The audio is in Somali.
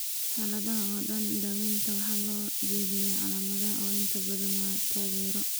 Xaaladaha oo dhan, daawaynta waxaa loo jeediyaa calaamadaha oo inta badan waa taageero.